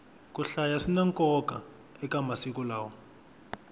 ku hlaya swina nkoka eka masiku lawa